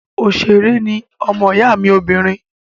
Òṣèré ní ọmọ ìyá mi obìnrin